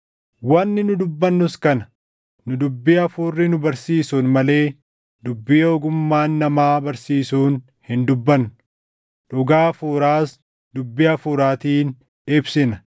Wanni nu dubbannus kana; nu dubbii Hafuurri nu barsiisuun malee dubbii ogummaan namaa barsiisuun hin dubbannu; dhugaa Hafuuraas dubbii Hafuuraatiin ibsina.